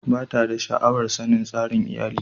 Ba ta da sha'awar sanin tsarin iyalin.